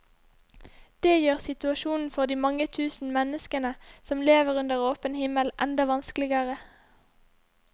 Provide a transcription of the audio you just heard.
Det gjør situasjonen for de mange tusen menneskene som lever under åpen himmel, enda vanskeligere.